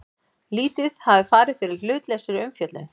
Lítið hafi farið fyrir hlutlausri umfjöllun